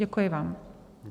Děkuji vám.